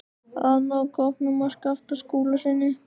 AÐ NÁ KÓPNUM AF SKAPTA SKÚLASYNI.